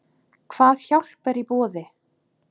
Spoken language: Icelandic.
Hvað hjálp er í boði?